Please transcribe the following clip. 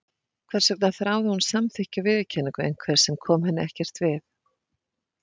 Hvers vegna þráði hún samþykki og viðurkenningu einhvers sem kom henni ekkert við?